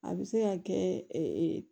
A bɛ se ka kɛ